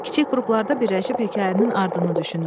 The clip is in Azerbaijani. Kiçik qruplarda birləşib hekayənin ardını düşünün.